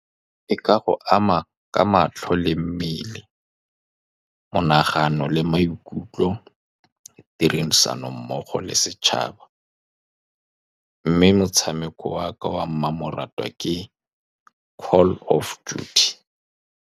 E ka go ama ka matlho le mmele monagano le maikutlo, tirisano mmogo le setšhaba, mme motshameko wa ka wa mmamoratwa ke Call Of Duty.